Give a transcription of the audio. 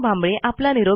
यांनी दिलेला आहे